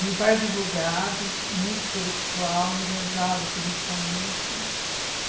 Meu pai é advogado, muito intelectual, enganjado politicamente.